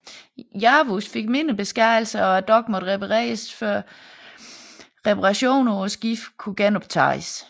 Yavuz fik mindre beskadigelser og dokken måtte repareres før reparationerne på skibet kunne genoptages